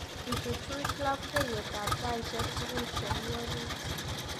Ichuchuch labkeiyetab taishek tugul chemi orit